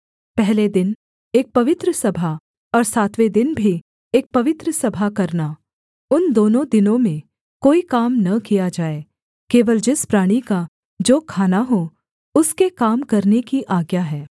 पहले दिन एक पवित्र सभा और सातवें दिन भी एक पवित्र सभा करना उन दोनों दिनों में कोई काम न किया जाए केवल जिस प्राणी का जो खाना हो उसके काम करने की आज्ञा है